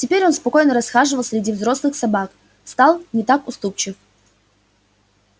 теперь он спокойно расхаживал среди взрослых собак стал не так уступчив